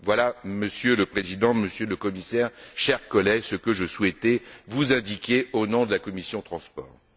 Voilà, Monsieur le Président, Monsieur le Commissaire, chers collègues, ce que je souhaitais vous indiquer, au nom de la commission des transports et du tourisme.